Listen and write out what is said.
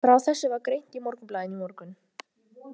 Frá þessu var greint í Morgunblaðinu í morgun.